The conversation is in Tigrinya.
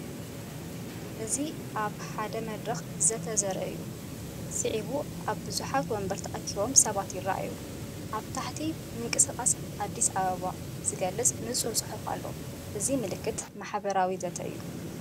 እዚ ኣብ ሓደ መድረኽ ዘተ ዘርኢ እዩ። ስዒቡ ኣብ ብዙሓት መንበር ተኣኪቦም ሰባት ይረኣዩ፡ ኣብ ታሕቲ ምንቅስቓስ ኣዲስ ኣበባ ዝገልጽ ንጹር ጽሑፍ ኣሎ። እዚ ምልክት ማሕበራዊ ዘተ እዩ።